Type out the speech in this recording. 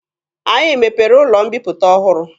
Anyị mepere ụlọ mbiputa ọhụrụ.